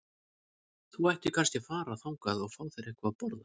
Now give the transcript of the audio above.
Þú ættir kannski að fara þangað og fá þér eitthvað að borða.